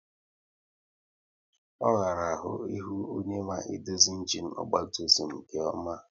Ọ ghara ahụ ihu onye ma edozi ịnginu ọgba tum tum nke ọma